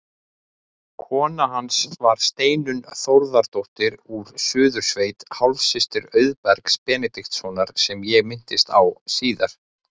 Kona hans var Steinunn Þórðardóttir úr Suðursveit, hálfsystir Auðbergs Benediktssonar sem ég minnist á síðar.